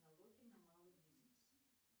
налоги на малый бизнес